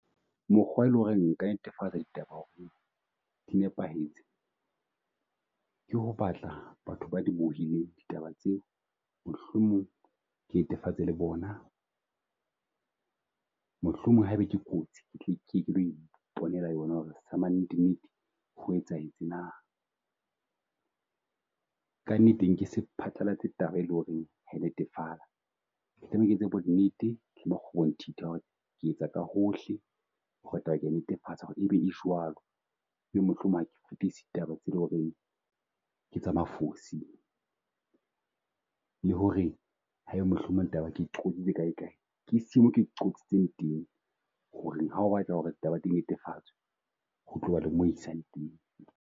Mokgwa e leng ho re nka netefatsa ditaba ho re di nepahetse, ke ho batla batho ba di bohileng ditaba tseo mohlomong ke netefatse le bona. Mohlomong ha e be ke kotsi ke tle ke ye ke lo iponela yona ho re hama nnete nnete ho etsahetse na. Kannete nke se phatlalatse taba e leng ho re ha netefatsa, tlameha ke etse bonnete le makgobonthitha ho re ke etsa ka hohle ho re taba ke ya e netefatsa ho re ebe e jwalo. E be mohlomong ha ke fitise taba tse loreng ke tsa mafosi, le ho re ha e be mohlomong taba ke kae kae, ke mo ke qotsitseng teng ho reng ha o batla ho re taba tse netefatsa ho tloba le mo isang teng.